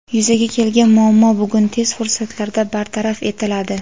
Yuzaga kelgan muammo bugun tez fursatlarda bartaraf etiladi.